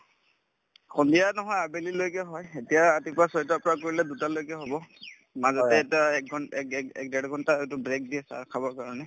সন্ধিয়া নহয় আবেলিলৈকে হয় এতিয়া ৰাতিপুৱা ছয়টাৰ পৰা কৰিলে দুটালৈকে হব মাজতে এটা একঘণ্ট এক এক ঘণ্টা তো break দিয়ে চাহ খাবৰ কাৰণে